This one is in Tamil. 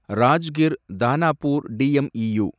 ராஜ்கிர் தானாபூர் டிஎம்இயூ